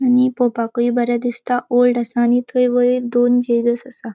आणि पोवपाकूय बरे दिसता ओल्ड असा आणि थय वयर दोन जीजस असा.